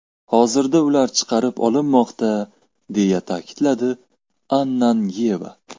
Hozirda ular chiqarib olinmoqda”, deya ta’kidladi Ananyeva.